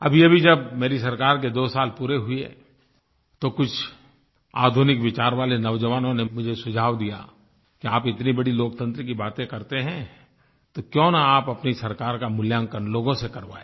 अभीअभी जब मेरी सरकार के 2 साल पूरे हुए तो कुछ आधुनिक विचार वाले नौजवानों ने मुझे सुझाव दिया कि आप इतनी बड़ी लोकतंत्र की बातें करते हैं तो क्यों न आप अपनी सरकार का मूल्यांकन लोगों से करवाएँ